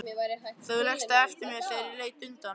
Þú lékst það eftir mér þegar ég leit undan.